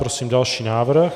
Prosím další návrh.